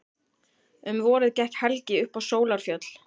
Um vorið gekk Helgi upp á Sólarfjöll.